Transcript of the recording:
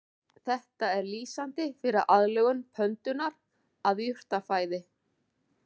Þetta er lýsandi fyrir aðlögun pöndunnar að jurtafæði.